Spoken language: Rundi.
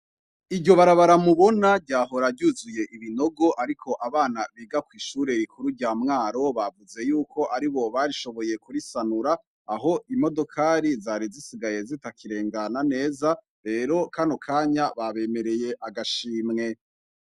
Iryo barabara mubona ryahora ryuzuye ibinogo ariko abana biga kw'ishure rikuru rya Mwaro bavuze yuko aribo barishoboye kurisanura aho imodokari zari zisigaye zitakirengana neza. Rero kano kanya babemereye agashimwe.